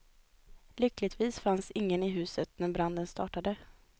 Lyckligtvis fanns ingen i huset när branden startade.